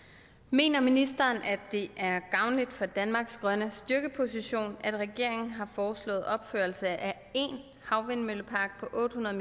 mener ministeren at det er gavnligt for danmarks grønne styrkeposition at regeringen har foreslået opførelse af én havvindmøllepark på otte hundrede